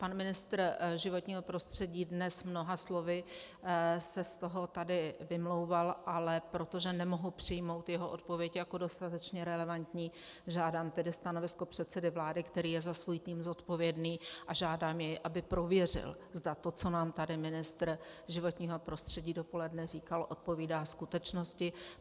Pan ministr životního prostředí dnes mnoha slovy se z toho tady vymlouval, ale protože nemohu přijmout jeho odpověď jako dostatečně relevantní, žádám tedy stanovisko předsedy vlády, který je za svůj tým zodpovědný, a žádám jej, aby prověřil, zda to, co nám tady ministr životního prostředí dopoledne říkal, odpovídá skutečnosti.